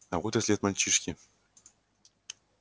а вот и след мальчишки